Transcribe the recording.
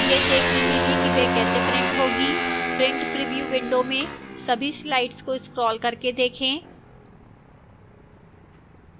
यह देखने के लिए कि वे कैसे print होंगी print preview window में सभी slides को scroll करके देखें